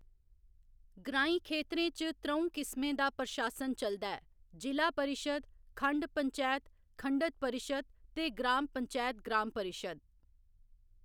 ग्राईं खेतरें च त्र'ऊं किस्में दा प्रशासन चलदा ऐ जिला परिशद् खंड पंचैत खंडत परिशद् ते ग्रांम पंचैत ग्राम परिशद्।